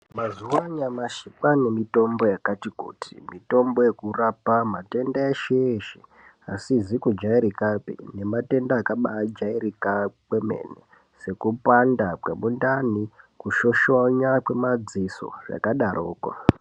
Mazuwa anyamashi kwane mitombo yakati kuti mitombo yekurapa matenda eshe eshe asizi kujairikapi nematenda akaba jairika kwemene sekupanda kwemindani kushoshonya kwemadziso zvakadaroko.